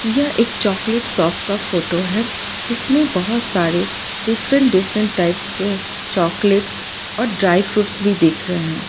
यह एक chocolate shop का फोटो है जिसमें बहोत सारे डिफरेंट डिफरेंट टाइप्स के चॉकलेट्स और ड्राई फ्रूट्स भी दिख रे है।